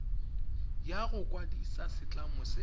ya go kwadisa setlamo se